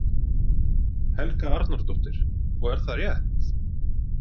Helga Arnardóttir: Og er það rétt?